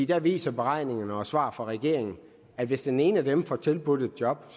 der viser beregningerne og svar fra regeringen at hvis den ene af dem får tilbudt et job